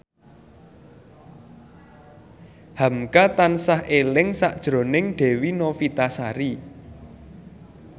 hamka tansah eling sakjroning Dewi Novitasari